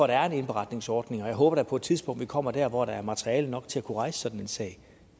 der er en indberetningsordning og jeg håber da på et tidspunkt vi kommer der hvor der er materiale nok til at kunne rejse sådan en sag